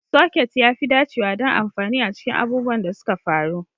Soket ya fi dacewa don amfani a cikin abubuwan da suka faru.